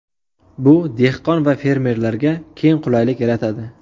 Bu dehqon va fermerlarga keng qulaylik yaratadi.